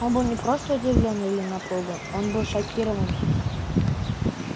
он был не просто удивлён или напуган он был шокирован